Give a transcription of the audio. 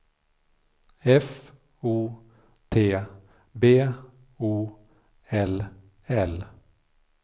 F O T B O L L